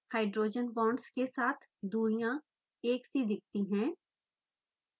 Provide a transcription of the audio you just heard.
hydrogen bonds के साथ दूरियाँ एक सी दिखती है